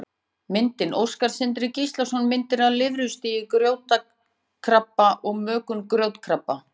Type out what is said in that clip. Myndir: Óskar Sindri Gíslason: Myndir af lirfustigi grjótkrabba og mökun grjótkrabba.